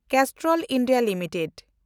Castrol India limited